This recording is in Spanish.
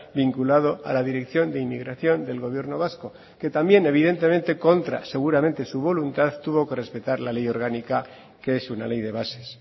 vinculado a la dirección de inmigración del gobierno vasco que también evidentemente contra seguramente su voluntad tuvo que respetar la ley orgánica que es una ley de bases